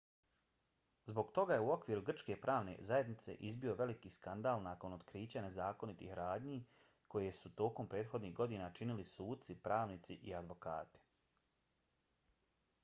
zbog toga je u okviru grčke pravne zajednice izbio veliki skandal nakon otkrića nezakonitih radnji koje su tokom prethodnih godina činili suci pravnici i advokati